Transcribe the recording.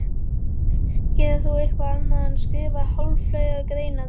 Gerir þú eitthvað annað en skrifa háfleygar greinar?